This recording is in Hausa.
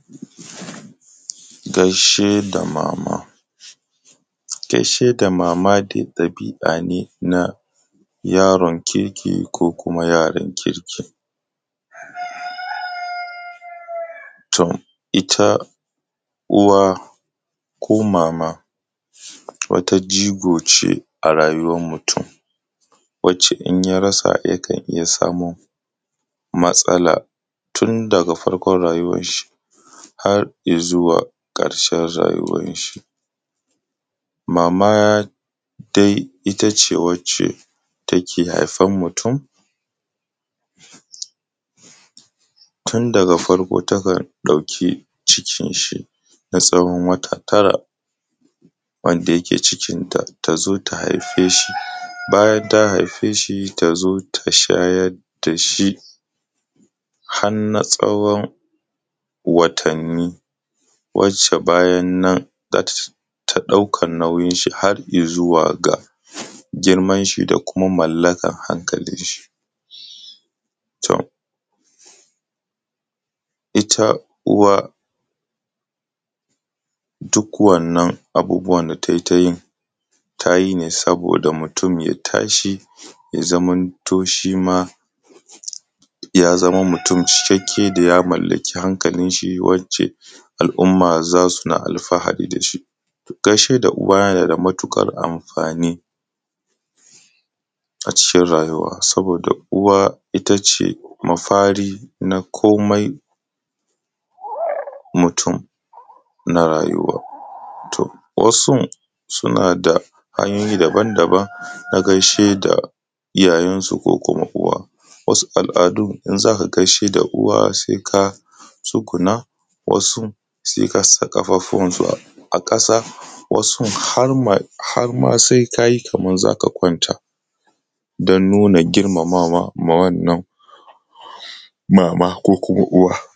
Gaishe da mama, gaishe da mama dai ɗabi`a ne na yaron kirki ko kuma yaran kirki, toita uwa ko mama wata jigo ce a rayuwan mutum wacce in rasa yakan iya samun matsala tun daga farkon rayuwan shi har izuwa ƙarshen rayuwan shi, mama dai itace wacce take haifan mutum tun daga farko takan ɗauki cikin shi na tsawon wata tara wanda yake cikin ta ta zo ta haifi shi bayan ta haife shi ta zo ta shayar da shi hanna tsawon watanni wacce bayan nan za ta ɗaukan nauyin shi har ya zuwa ga girman shi da kuma mallakan hankalin shi, to ita uwa duk wannan abubuwan da tai tayi tayi ne saboda mutum ya tashi ya zamanto shi ma ya zama mutum cikakkae da ya mallaki hankalin shi wacce al`umma zasu na alfahari da shi,, gaishe da uwa yana da matuƙan amfani a cikin rayuwa saboda uwa itace mafari na komai mutum na rayuwa, to wasun suna da hanyoyi daban daban na gaishe da iyayen su ko kuma uwa, wasu al`adun in zaka gaishe da uwa sai ka tsuguna, wasu sai kasa ƙafafuwan su a ƙasa, wasun har mai har ma sai kayi kaman zaka kwanta don nuna girmamawa ma wannan mama ko kuma uwa